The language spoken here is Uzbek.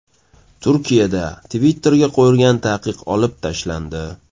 Turkiyada Twitter’ga qo‘yilgan taqiq olib tashlandi.